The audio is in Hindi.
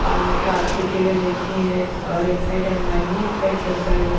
और कार्तिके गणेश जी हैं और एक साइड हनुमान जी एक साइड संकर जी।